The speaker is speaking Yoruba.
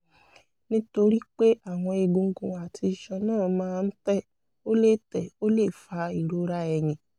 nítorí pé àwọn egungun àti iṣan náà máa ń tẹ̀ ó lè tẹ̀ ó lè fa ìrora ẹ̀yìn